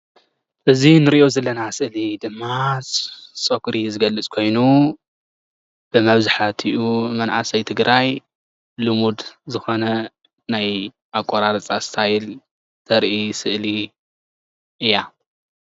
እዚ እንሪኦ ዘለና ስእሊ ድማ ፀጉሪ ዝገልፅ ኮይኑ ብመዛሕትኡ መናእሰይ ትግራይ ልሙድ ዝኮነ ናይ ኣቆራርፃ እስታይል ተርኢ ስእሊ እያ፡፡